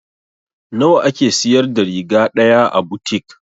Nawa a ke siyar da riga ɗaya a butik?